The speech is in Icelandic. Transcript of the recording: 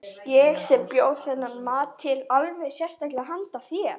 Ég sem bjó þennan mat til alveg sérstaklega handa þér.